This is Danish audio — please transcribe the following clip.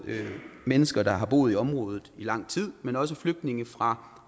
mennesker der har boet i området i lang tid men også flygtninge fra